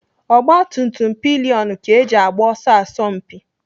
Ogbatumtum pilionụ ka eji agba ọsọ asọmpi.